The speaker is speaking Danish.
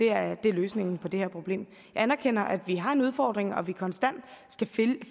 er løsningen på det her problem jeg anerkender at vi har en udfordring og at vi konstant skal